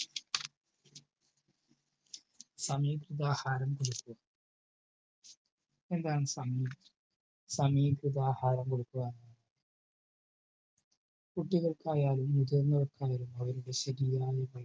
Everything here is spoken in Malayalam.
സംമിക്രതാഹാരം ഭേദ്യം. സംമിക്രതാഹാരം. എന്താണ് സമി സമീകൃതാഹാരം കൊടുക്കുക. കുട്ടികൾക്കായാലും മുതിർന്നവർക്കായാലും